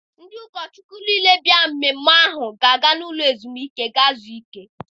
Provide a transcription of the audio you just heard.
Ndị ụkọ Chukwu niile bịara emume ahụ ga-aga n'ụlọ ezumike gaa zuo ike.